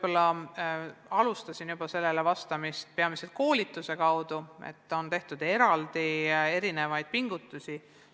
Ma usun, et peamiselt koolituse kaudu ja tõesti on tehtud selleks eraldi pingutusi.